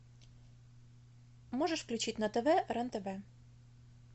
можешь включить на тв рен тв